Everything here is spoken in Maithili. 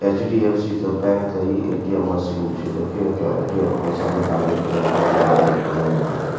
एच.डी.एफ.सी. के बैंक इ ए.टी.एम. मशीन छै देखेय त ए.टी.एम. पइसा निकाले के लिए कते आदमी के लाइन लागल --